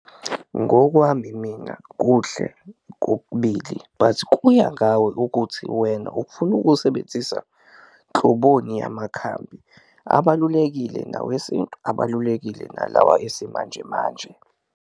Ngokwami mina kuhle kokubili but kuya ngawe ukuthi wena ufuna ukuwusebenzisa nhloboni yamakhambi, abalulekile nawesintu abalulekile nalawa esimanjemanje.